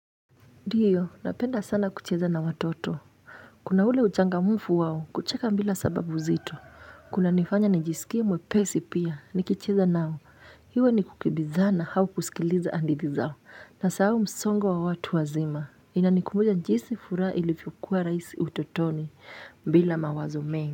Ndiyo, napenda sana kucheza na watoto. Kuna ule uchangamfu wao, kucheka mbila sababu zito. Kunanifanya nijisikie mwepesi pia, nikicheza nao. Hiwe ni kukibizana hau kusikiliza andithi zao. Nasahao msongo wa watu wazima. Inanikumbuja jisi furaha ilifyokua rais utotoni, bila mawazo mengi.